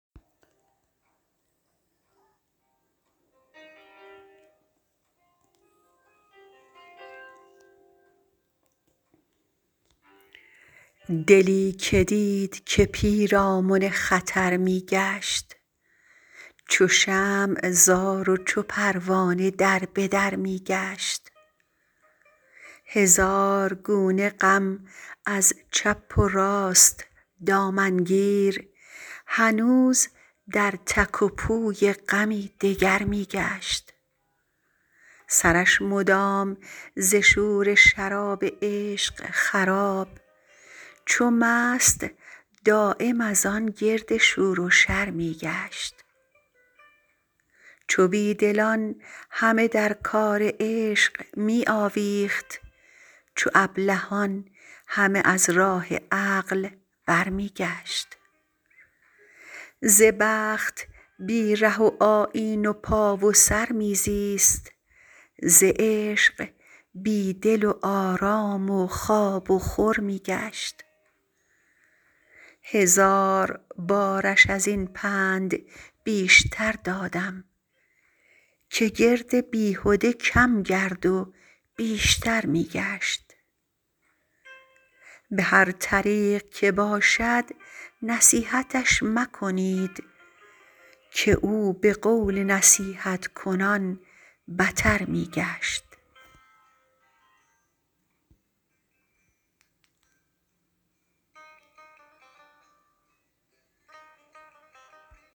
دلی که دید که پیرامن خطر می گشت چو شمع زار و چو پروانه در به در می گشت هزار گونه غم از چپ و راست دامن گیر هنوز در تک و پوی غمی دگر می گشت سرش مدام ز شور شراب عشق خراب چو مست دایم از آن گرد شور و شر می گشت چو بی دلان همه در کار عشق می آویخت چو ابلهان همه از راه عقل برمی گشت ز بخت بی ره و آیین و پا و سر می زیست ز عشق بی دل و آرام و خواب و خور می گشت هزار بارش از این پند بیشتر دادم که گرد بیهده کم گرد و بیشتر می گشت به هر طریق که باشد نصیحتش مکنید که او به قول نصیحت کنان بتر می گشت